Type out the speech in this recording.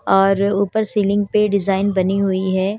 और ऊपर सीलिंग पे डिज़ाइन बनी हुई है।